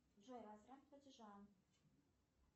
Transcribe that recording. джой возврат платежа